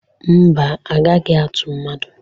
Mba, agaghi atu mmadụ?